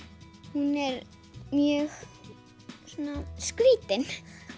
hún er mjög svona skrítin